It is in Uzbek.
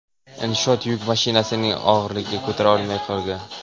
Inshoot yuk mashinasining og‘irligini ko‘tara olmay qolgan .